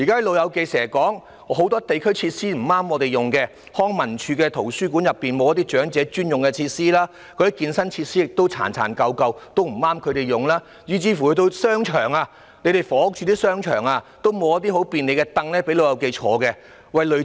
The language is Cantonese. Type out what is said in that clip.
"老友記"經常說，很多社區設施不適合他們使用，例如康樂及文化事務署轄下的圖書館內沒有長者專用設施；健身設施十分殘舊，不適合他們使用；房屋署的商場也沒有提供方便"老友記"歇息的椅子。